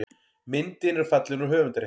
Myndin er fallin úr höfundarrétti.